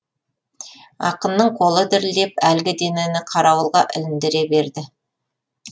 ақынның қолы дірілдеп әлгі денені қарауылға іліндіре берді